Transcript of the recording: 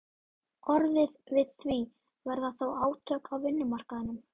orðið við því, verða þá átök á vinnumarkaðnum?